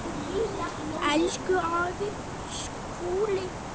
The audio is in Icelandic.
Elsku afi Skúli.